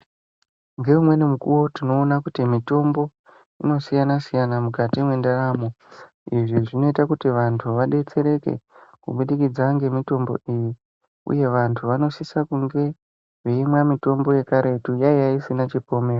Ngeumweni mukuwo tinoona kuti, mitombo inoasiyana-siyana mukati mendaramo. Izvi zvinoita kuti vantu vadetsereke kubudikidza ngemitombo iyi, uye vantu vanosisa kunge, veimwa mitombo yekaretu. Yaiya isina chipomerwa.